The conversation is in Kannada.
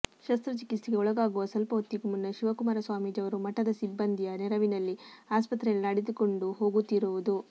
ಶಸ್ತ್ರಚಿಕಿತ್ಸೆಗೆ ಒಳಗಾಗುವ ಸ್ವಲ್ಪ ಹೊತ್ತಿಗೂ ಮುನ್ನ ಶಿವಕುಮಾರ ಸ್ವಾಮೀಜಿ ಅವರು ಮಠದ ಸಿಬ್ಬಂದಿಯ ನೆರವಿನಲ್ಲಿ ಆಸ್ಪತ್ರೆಯಲ್ಲಿ ನಡೆದುಕೊಂಡು ಹೋಗುತ್ತಿರುವುದು